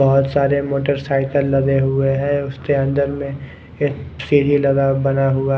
बहोत सारे मोटरसाइकिल लगे हुए है उसके अंदर में एक सीढ़ी लगा हुआ बना हुआ है।